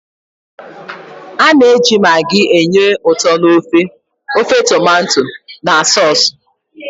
A na-eji maggi enye ụtọ n'ofe, ofe tomato na sọọsụ.